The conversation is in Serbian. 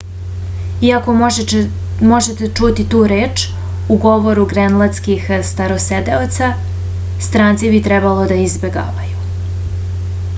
iako možete čuti tu reč u govoru grenlandskih starosedeoca stranci bi trebalo da je izbegavaju